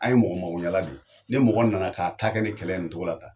An ye mɔgɔ makoɲɛla de ye. ni mɔgɔ nana k'a ta kɛ ni kɛlɛ ye nin cogo la tan